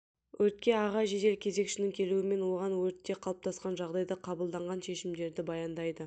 өртке аға жедел кезекшінің келуімен оған өртте қалыптасқан жағдайды қабылданған шешімдерді баяндайды